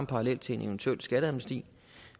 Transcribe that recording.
parallel til en eventuel skatteamnesti